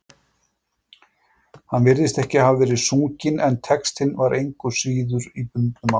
Hann virðist ekki hafa verið sunginn, en textinn var engu að síður í bundnu máli.